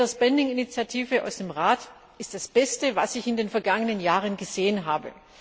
Die Better Spending Initiative aus dem Rat ist das Beste, was ich in den vergangenen Jahren gesehen habe.